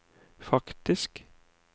faktisk